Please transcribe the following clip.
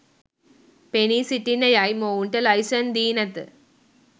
පෙනී සිටින්න යයි මොවුන්ට ලයිසන් දී නැත.